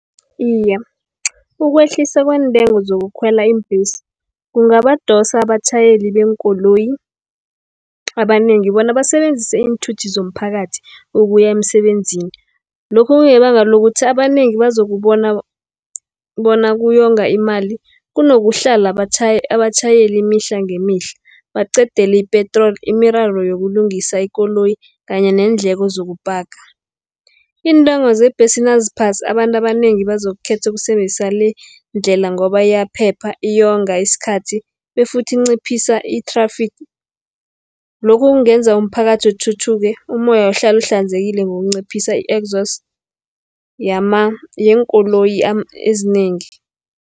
Iye, ukwehliswa kweentengo zokukhwela iimbhesi, kungabadosa abatjhayeli beenkoloyi abanengi, bona basebenzise iinthuthi zomphakathi ukuya emsebenzini. Lokhu kungebanga lokuthi abanengi bazokubona bona kuyonga imali, kunokuhlala abatjhayeli imihla ngemihla, baqedeli ipetroli, imiraro yokulungisa ikoloyi, kanye neendleko zokupaka. Iintengo zebhesi naziphasi abantu abanengi bazokukhetha ukusebenzisa le, ndlela ngoba iyaphepha, iyonga isikhathi befuthi inciphisa i-traffic. Lokhu kungenza umphakathi uthuthuke, umoya ukuhlale uhlanzekile, ngokunciphisa i-exhaust yeenkoloyi ezinengi.